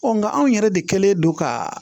nka anw yɛrɛ de kɛlen don ka